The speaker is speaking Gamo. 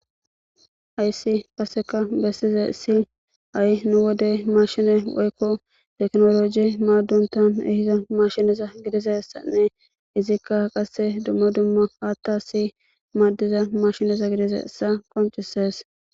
Hayisi qasika besizayis ha,I nu wode mashine woyiko tekinologe madontan yiza mashineza gidizayisanne izika qase duma duma hathasi madiza mashineza gidizayisa qonc,ises